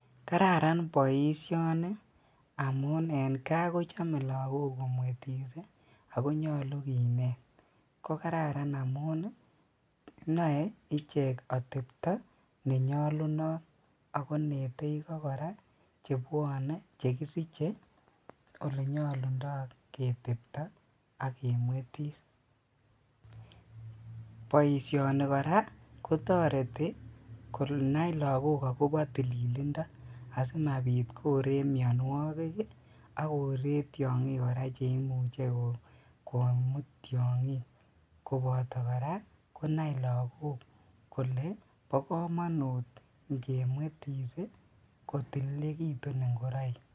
Kararan boisioni amun en kaa kochome lagok komwetis ii akonyolu kinet, ko Kararan amun noe ichek otepto nenyolunot ako inete ikok chebwone chekisiche olenyolundo ketepto ak kemwetis, boisioni koraa kotoreti asikonai lagok akobo tililindo asimabit koree mionuokik ak koree tiongik koraa cheimuche komut tiongik koboto koraa konai lagok kole bokomonut ingemwetis ii kotililekitun ingoroik.